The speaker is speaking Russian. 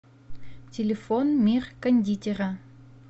телефон мир кондитера